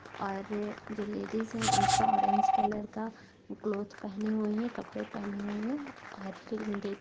और जो लेडीज है उसका ऑरेंज कलर का क्लोथ पहनी हुई है कपड़े पहने हुई है और --